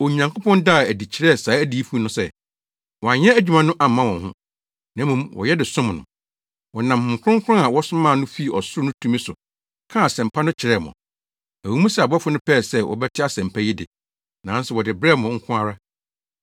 Onyankopɔn daa no adi kyerɛɛ saa adiyifo no sɛ, wɔanyɛ adwuma no amma wɔn ho, na mmom wɔyɛ de som mo. Wɔnam Honhom Kronkron a wɔsomaa no fii ɔsoro no tumi so kaa Asɛmpa no kyerɛɛ mo. Ɛwɔ mu sɛ abɔfo no pɛɛ sɛ wɔbɛte Asɛmpa yi de, nanso wɔde brɛɛ mo nko ara.